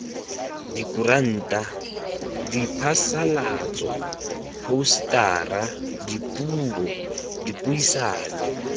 dikuranta diphasalatso phousetara dipuo dipuisano